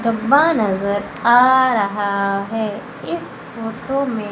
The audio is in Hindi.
डब्बा नजर आ रहा है इस फोटो में--